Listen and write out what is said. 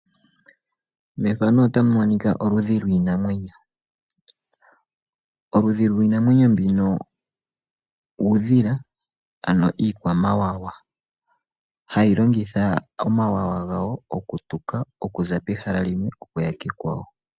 Methano ota munikwa oludhi lwiinamwenyo , oludhi lwiinamwenyo mbino uudhila ano iikwa mawawa .Hayi longitha omawawa gawo okutuka okuza pehala limwe okuya pehala ekwawo.